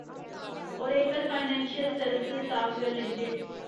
Oracle financial service software limited